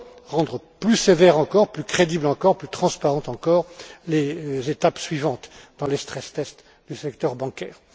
souhaité, rendre plus sévères encore, plus crédibles encore, plus transparentes encore, les étapes suivantes dans les stress tests du secteur bancaire.